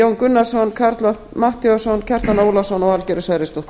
jón gunnarsson karl fimmti matthíasson kjartan ólafsson og valgerður sverrisdóttir